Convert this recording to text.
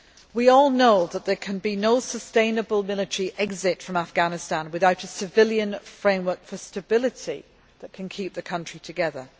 We all know that there can be no sustainable military exit from Afghanistan without a civilian framework for stability that can keep the country together.